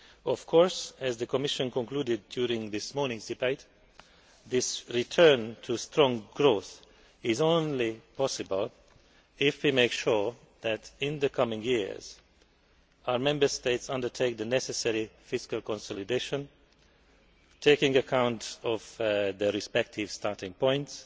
Of course, as outlined in the Commission's conclusions during this morning's debate, this return to strong growth is only possible if we make sure that in the coming years, our Member States undertake the necessary fiscal consolidation, taking account of their respective starting points,